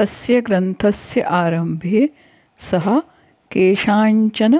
तस्य ग्रन्थस्य आरम्भे सः केषाञ्चन